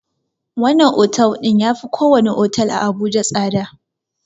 Wannan otel ɗin yafi ko wani otel a abuja tsada